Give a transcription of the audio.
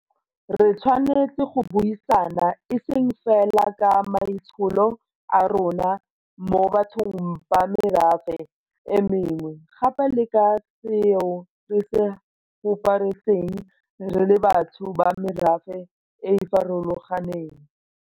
Re tshwanetse go buisana e seng fela ka maitsholo a rona mo bathong ba merafe e mengwe, gape le ka ga seo re se huparetseng re le batho ba merafe e e farolo ganeng.